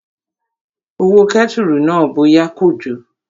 Ó wo kẹ́tùrù náà bóyá kò jò